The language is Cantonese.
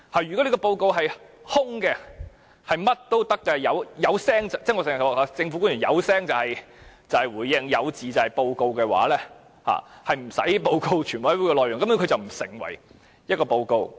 如果這份報告是"空"的，"發聲"便可以——我經常說，政府官員只要"發聲"便是回應，有字便成報告——根本無須報告全委會的討論內容。